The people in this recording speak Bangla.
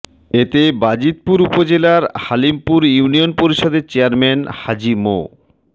এতে বাজিতপুর উপজেলার হালিমপুর ইউনিয়ন পরিষদের চেয়ারম্যান হাজি মো